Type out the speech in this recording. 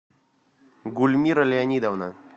гульмира леонидовна